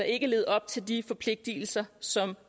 ikke levet op til de forpligtelser som